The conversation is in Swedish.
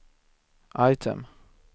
item